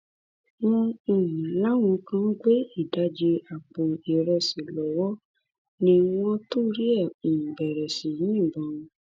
wọn um láwọn kan gbé ìdajì àpò ìrẹsì lọwọ ni wọn torí ẹ um bẹrẹ sí í yìnbọn